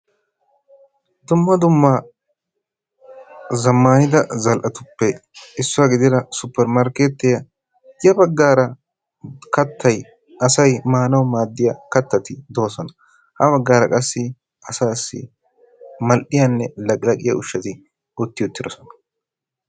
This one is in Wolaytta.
dumma dumma zamaanidda zal'etuppe issuwa gidida super markeetiyan ya bagaara kattay asay maanawu maaddiya kattati ha bagaara qassi asaassi maliya laqqilaqqiya ushatu utti uttidosona.